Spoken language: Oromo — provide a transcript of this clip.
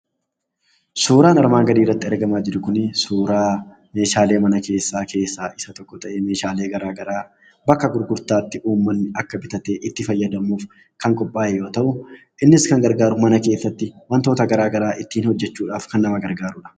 Suuraan armaan gadiirratti argamaa jiru kuni, suuraa meeshaalee manaa keessaa isa tokko ta'ee, meeshaalee gara garaa bakka gurgurtaatti uummanni bitatee, akka itti fayyadamuuf kan gargaaru yoo ta'u, innis, mana keessatti wantoota gara garaa ittiin hojjechuudhaaf kan nama gargaarudha.